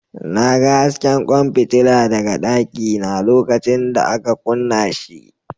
Na ga hasken kwan fitila daga dakina lokacin da aka kunna shi.